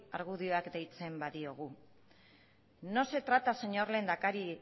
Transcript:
argudioak deitzen badiogu no se trata señor lehendakari